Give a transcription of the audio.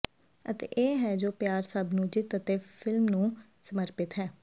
ਅਤੇ ਇਹ ਹੈ ਜੋ ਪਿਆਰ ਸਭ ਨੂੰ ਜਿੱਤ ਅਤੇ ਫਿਲਮ ਨੂੰ ਸਮਰਪਿਤ ਹੈ